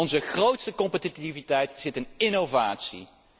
Onze grootste competitiviteit zit in innovatie.